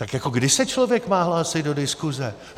Tak jako kdy se člověk má hlásit do diskuse?